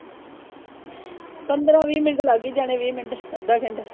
ਪੰਦਰਾਂ ਵੀਹ ਮਿੰਟ ਲੱਗ ਈ ਜਾਣੇ ਵੀਹ ਮਿੰਟ ਅੱਧਾ ਘੰਟਾ।